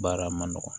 Baara ma nɔgɔn